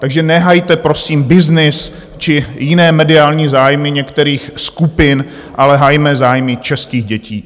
Takže nehajte prosím byznys či jiné mediální zájmy některých skupin, ale hajme zájmy českých dětí.